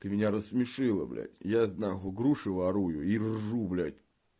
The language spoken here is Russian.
ты меня рассмешила блядь я тут нахуй груши ворую и ржу блядь